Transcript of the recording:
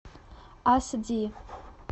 ас ди